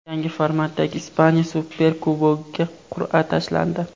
Yangi formatdagi Ispaniya Superkubogiga qur’a tashlandi.